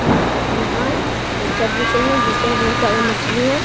य यहाँ एक चट बिछ रही है जिस पे बहुत सारी मछली है।